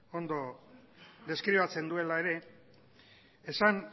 ondo deskribatzen duela ere esan